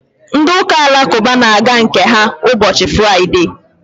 ndị ụka alakụba na-aga nke ha ụbọchị fụraịde